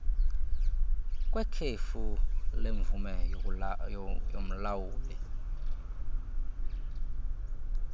kwekhefu lemvume yomlawuli